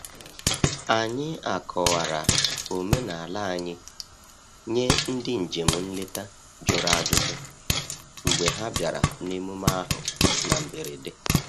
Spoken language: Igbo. Anyị akọwara omenala anyị nye ndị njem nleta jụrụ ajụjụ mgbe ha bịara n’emume ahụ na mberede.